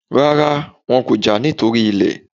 Rárá, wọn kò jà nítorí ilẹ̀